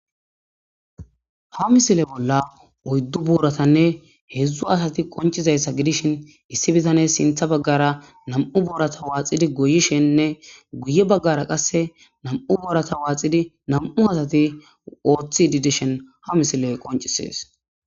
Ha misile bolla oyddu buuratanne hedzdzu asati qoncizayssa gidishin issi bitane sintha baggara na'mu boorata waaxidi goyishennne guye baggara qasse na'mu boorata waaxidi na'mu asati oothi didishen ha misiley qoncisees